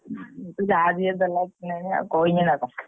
ନା ଯାହା ଯିଏ ଦେଲା ପିନ୍ଧି ବି ନା କହିବି ନା କଣ।